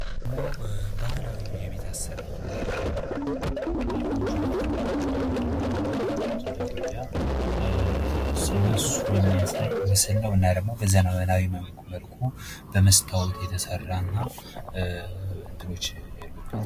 ይሄ ደሞ ባህላዊ የቤት አሰራር ከምንላቸው መካከል ጎጆ ቤት ግንባር ቀደም ነው። በሃገራችን በኢትዮጲያ ስለሱ የሚያሳይ ምስል ነው። እና ደሞ በዘመናዊ መልኩ በመስታወት የተሰራ እና እንትኖች ያሉበት